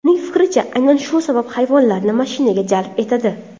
Uning fikricha, aynan shu sabab hayvonlarni mashinaga jalb etadi.